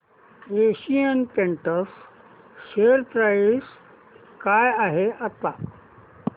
Asian Paints share price काय आहे आता